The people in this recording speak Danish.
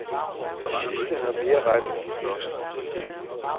De sidste har mere ret end de første.